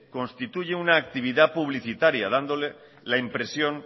constituye una actividad publicitaria